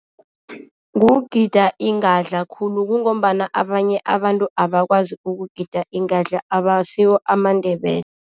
Kugida ingadla khulu kungombana abanye abantu abakwazi ukugida ingadla abasiwo amaNdebele.